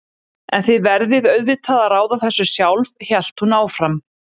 En þið verðið auðvitað að ráða þessu sjálf, hélt hún áfram.